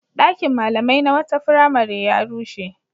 Ɗakin malamai na wata firamare ya rushe.